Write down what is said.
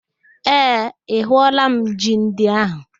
Ee, ahụọla m ji ndị ahụ